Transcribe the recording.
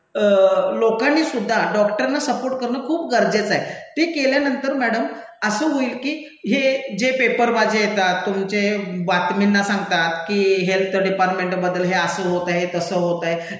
लोकांनीसुद्धा डॉक्टरना सपोर्ट करणं खूप गरजेचं आहे ते केल्यानंतर मैडम असं होईल की हे जे पेपरबाज्या येतात, तुमचे बातमींना सांगतात की हेल्थ डिपार्टमेंटबद्दल हे असं होत आहे, तसं होत आहे,